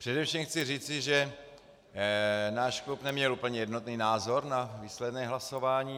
Především chci říci, že náš klub neměl úplně jednotný názor na výsledné hlasování.